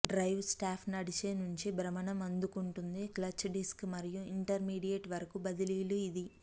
drive shaft నడిచే నుండి భ్రమణం అందుకుంటుంది క్లచ్ డిస్క్ మరియు ఇంటర్మీడియట్ వరకు బదిలీలు ఇది